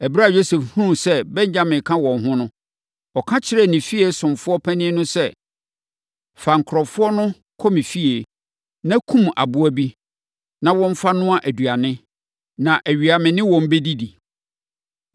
Ɛberɛ a Yosef hunuu sɛ Benyamin ka wɔn ho no, ɔka kyerɛɛ ne fie ɔsomfoɔ panin no sɛ, “Fa nkurɔfoɔ no kɔ me fie, na kum aboa bi, na wɔmfa nnoa aduane, na awia me ne wɔn bɛdidi.”